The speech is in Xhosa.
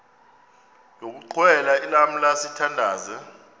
yokuxhelwa lamla sithandazel